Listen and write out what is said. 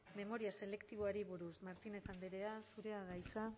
memoria selektiboari buruz martínez andrea zurea da hitza